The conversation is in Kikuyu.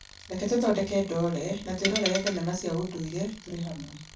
reke tũthondeke ndoore na twĩrorere thenema cia ũndũire tũrĩ hamwe